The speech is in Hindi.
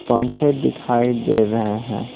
पंखे दिखाई दे रहे हैं।